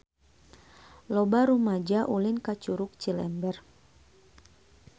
Loba rumaja ulin ka Curug Cilember